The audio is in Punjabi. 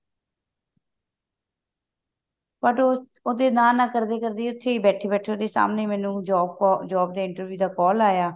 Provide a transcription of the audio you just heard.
but ਉਹ ਉਹਦੇ ਨਾ ਨਾ ਕਰਦੇ ਕਰਦੇ ਉੱਥੇ ਬੈਠੇ ਬੈਠੇ ਮੈਨੂੰ ਸਾਹਮਣੇ job ਕਾ job ਦੇ interview ਦਾ call ਆਇਆ